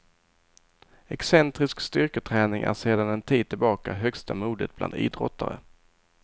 Excentrisk styrketräning är sedan en tid tillbaka högsta mode bland idrottare.